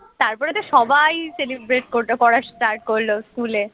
তারপরে তো সবাই celebrate করল করা start করল স্কুলে